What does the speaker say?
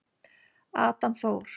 Adam Þór.